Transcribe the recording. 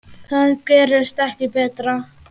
Það gerist ekki betra.